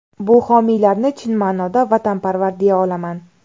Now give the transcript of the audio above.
Bu homiylarni chin ma’noda vatanparvar deya olaman.